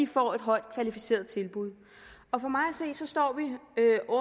får et højt kvalificeret tilbud og for mig